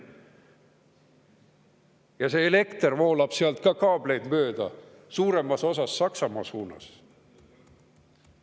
Ja see elekter voolab ka kaableid mööda suuremas osas Saksamaa suunas.